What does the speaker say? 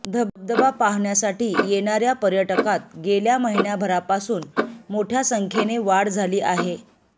धबधबा पाहण्यासाठी येणार्या पर्यटकांत गेल्या महिन्याभरापासून मोठ्या संख्येने वाढ झाली आहे